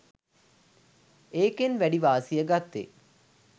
ඒකෙන් වැඩි වාසිය ගත්තෙ